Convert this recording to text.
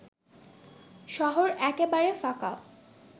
শহর একেবারে ফাঁকা